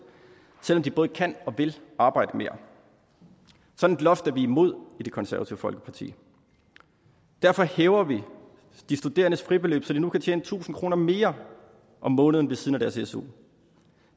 selv om de både kan og vil arbejde mere sådan et loft er vi imod i det konservative folkeparti derfor hæver vi de studerendes fribeløb så de nu kan tjene tusind kroner mere om måneden ved siden af deres su